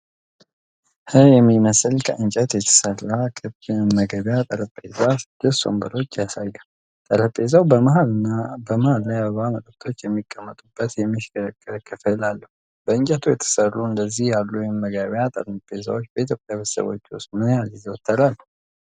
ህ ምስል ከእንጨት የተሠራ ክብ የመመገቢያ ጠረጴዛና ስድስት ወንበሮች ያሳያል። ጠረጴዛው በመሃል ላይ አበባና መጠጦች የሚቀመጡበት የሚሽከረከር ክፍል አለው። በእንጨት የተሰሩ እንደዚህ ያሉ የመመገቢያ ጠረጴዛዎች በኢትዮጵያ ቤተሰቦች ውስጥ ምን ያህል ይዘወተራሉ?